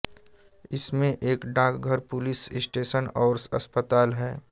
इसमें एक डाकघर पुलिस स्टेशन और अस्पताल है